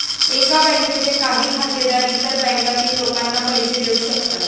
एका बँकेचे काही खातेदार इतर बँकांतील लोकांना पैसे देवू शकतात.